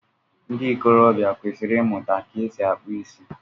Ndị ikorobia kwesịrị ịmụta ka esi akpụ isi